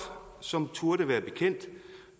som turde være bekendt